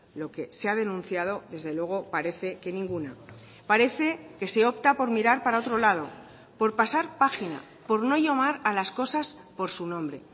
lo que se ha denunciado desde luego parece que ninguna parece que se opta por mirar para otro lado por pasar página por no llamar a las cosas por su nombre